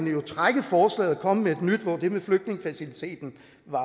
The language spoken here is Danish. jo trække forslaget og komme med et nyt hvor det med flygtningefaciliteten